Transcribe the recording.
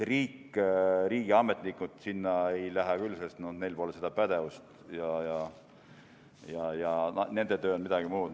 Riik, riigiametnikud sinna küll ei lähe, sest neil pole seda pädevust ja nende töö on midagi muud.